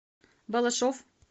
балашов